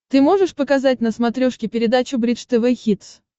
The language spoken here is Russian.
ты можешь показать на смотрешке передачу бридж тв хитс